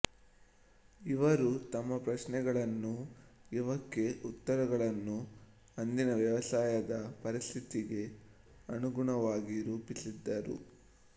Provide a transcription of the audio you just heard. ಇವರು ತಮ್ಮ ಪ್ರಶ್ನೆಗಳನ್ನೂ ಇವಕ್ಕೆ ಉತ್ತರಗಳನ್ನೂ ಅಂದಿನ ವ್ಯವಸಾಯದ ಪರಿಸ್ಥಿತಿಗೆ ಅನುಗುಣವಾಗಿ ರೂಪಿಸಿದರು